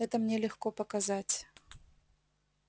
это мне легко показать